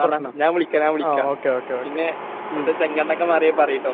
ആടാ. ഞാൻ വിളിക്കാം. ഞാൻ വിളിക്കാം. പിന്നെ അവിടുത്തെ ചെങ്കണ്ണൊക്കെ മാറിയാൽ പറയിട്ടോ.